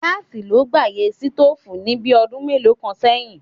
Gáàsì ló gbàyè sítóòfù ní bí ọdún mélòó kan sẹ́yìn.